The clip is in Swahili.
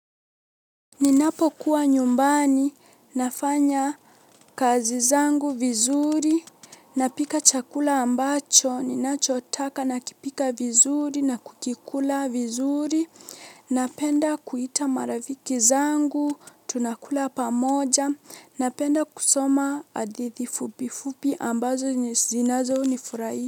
Ninapokuwa nyumbani, nafanya kazi zangu vizuri, napika chakula ambacho ninachotaka nakipika vizuri, na kukikula vizuri, napenda kuita marafiki zangu, tunakula pamoja, napenda kusoma hadithi fupifupi ambazo zinazonifurahi.